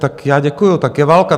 Tak já děkuju, tak je válka.